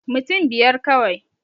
Mutun biyar kawai